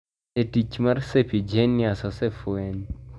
Bende tich mar serpiginous osefweny.